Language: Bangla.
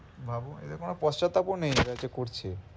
ভাবো এদের পস্তাতাবও নেই ওরা যে করছে।